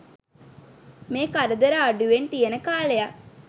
මේ කරදර අඩුවෙන් තියෙන කාලයක්.